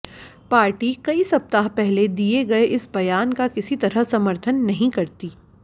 party कई सप्ताह पहले दिए गए इस बयान का किसी तरह समर्थन नहीं करती